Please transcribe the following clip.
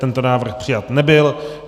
Tento návrh přijat nebyl.